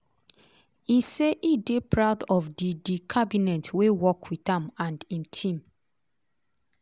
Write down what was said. e say e dey proud of di di cabinet wey work wit am and im team.